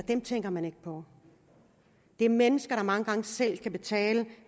tænker man ikke på det er mennesker der mange gange selv kan betale